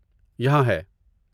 یہاں ہے!